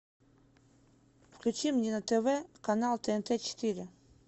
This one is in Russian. включи мне на тв канал тнт четыре